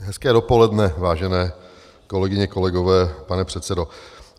Hezké dopoledne, vážené kolegyně, kolegové, pane předsedo.